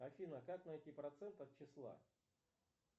афина как найти процент от числа